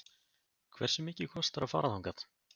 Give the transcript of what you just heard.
Hversu mikið kostar að fara þangað?